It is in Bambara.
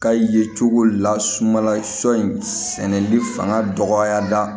Ka ye cogo la sumala sɔ in sɛnɛli fanga dɔgɔya